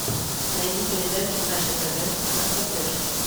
найди передачу наше тв на смотрешке